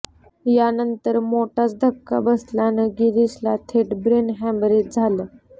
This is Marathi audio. यानंतर मोठाच धक्का बसल्यानं गिरीशला थेट ब्रेन हॅमरेज झालं